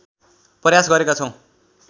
प्रयास गरेका छौं